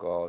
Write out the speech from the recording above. Ka